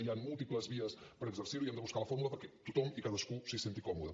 hi han múltiples vies per exercir ho i hem de buscar la fórmula perquè tothom i cadascú s’hi senti còmode